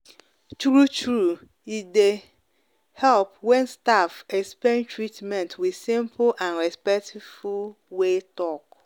true true e dey dey help when staff explain treatment with simple and respectful way talk.